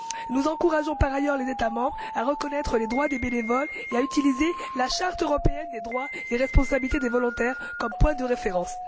Nous encourageons par ailleurs les États membres à reconnaître les droits des bénévoles et à utiliser la charte européenne des droits et responsabilités des volontaires comme point de référence.